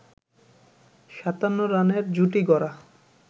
৫৭ রানের জুটি গড়া